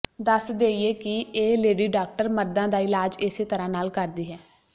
ਦੱਸ ਦੇਈਏ ਕਿ ਇਹ ਲੇਡੀ ਡਾਕਟਰ ਮਰਦਾਂ ਦਾ ਇਲਾਜ ਇਸੇ ਤਰ੍ਹਾਂ ਨਾਲ ਕਰਦੀ ਹੈ